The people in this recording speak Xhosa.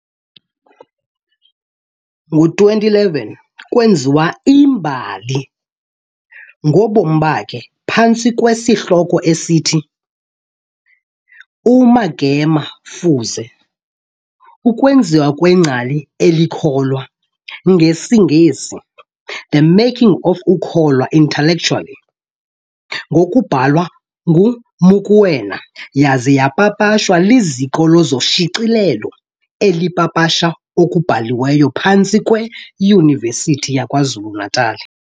Ngo-2011, kweenziwa i'mbali ngobomi bakhe, phantsi kwesihloko esithi, uMagema Fuze, ukwenziwa kwengcali elikholwa, NgesiNgesi, The making of a kholwa Intellectual, ngokubhalwa nguMokoena, yaza yapapashwa liziko loshicilelo elipapasha okubhaliweyo phantsi kweYunivesithi yakwaZulu Natala.